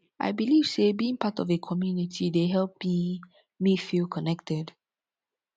i believe say being part of a community dey help me me feel connected